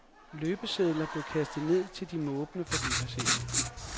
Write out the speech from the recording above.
Løbesedler blev kastet ned til de måbende forbipasserende.